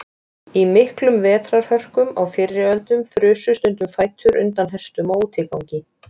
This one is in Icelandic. Í miklum vetrarhörkum á fyrri öldum frusu stundum fætur undan hestum á útigangi.